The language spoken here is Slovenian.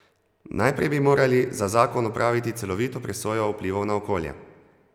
Najprej bi morali za zakon opraviti celovito presojo vplivov na okolje.